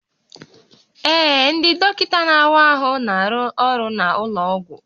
Ee, ndị dọkịta na-awa ahụ na-arụ ọrụ n'ụlọ ọgwụ